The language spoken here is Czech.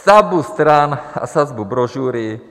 Sazbu stran a sazbu brožury.